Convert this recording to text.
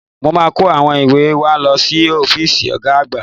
Mo máa kó àwọn ìwé wa lọ sí ọ́fíìsì Ọ̀ga àgbà